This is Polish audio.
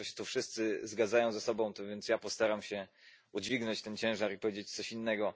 Państwo się tu wszyscy zgadzają ze sobą, a więc ja postaram się udźwignąć ten ciężar i powiedzieć coś innego.